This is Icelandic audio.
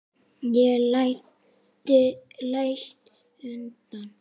Ég læt undan.